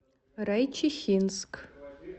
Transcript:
райчихинск